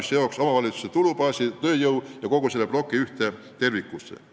See seoks omavalitsuse tulubaasi, tööjõu ja kogu selle ploki ühte tervikusse.